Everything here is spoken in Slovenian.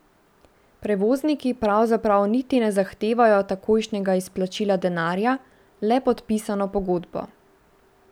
Prevozniki pravzaprav niti ne zahtevajo takojšnjega izplačila denarja, le podpisano pogodbo.